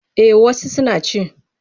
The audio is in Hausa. Eh wasu suna ci.